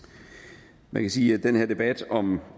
man jo kan sige at den her debat om